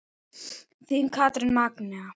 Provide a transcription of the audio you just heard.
Þín Katrín Magnea.